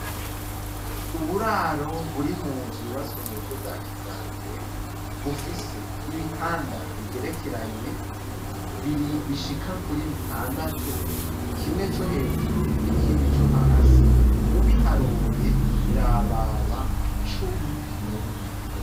Uburaro, buri mu nzu yubatswe mu buryo bwa kijambere; bufise ibitanda bigerekeranye, bishika kuri bitandatu; kimwe co hejuru, n'ikindi co hasi, ubiharuye, birababa cumi na bibiri.